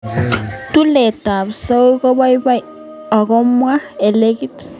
tulet ap zouk kopaipaito akoipwa alekitit